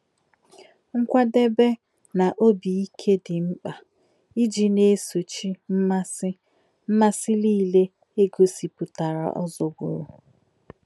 Nkwà̄débè̄ nā̄ ọ̀bí̄ íkè̄ dị́ mkpá̄ íjì̄ nā̄ èsò̄chí̄ mmasí̄ mmasí̄ nílé̄ è gòsị̀pù̄tà̄rà̄ ọ̀zọ̀gbùrù̄.